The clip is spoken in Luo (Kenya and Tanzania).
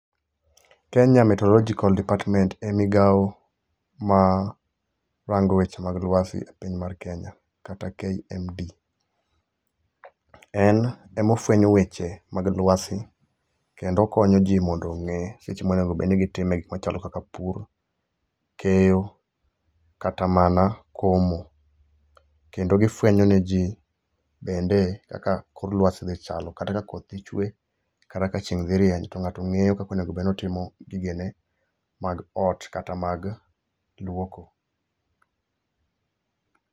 Kenya meteorological department e migao ma rango weche mag lwasi e piny mar Kenya kata (KMD). En emofwenyo weche mag lwasi, kendo okonyo ji mondo ong'e seche monego bedo ni gitime gikmoko kaka pur, keyo kata mana komo. Kendo gifwenyone ji bende kaka kor lwasi dhi chalo kata ka koth dhi chwe, kata ka chieng' dhi rieny to ng'ato ng'eyo kaka onego bed notimo gigene mag ot kata mag lwoko.